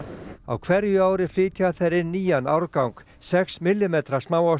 á hverju ári flytja þeir inn nýjan árgang sex millimetra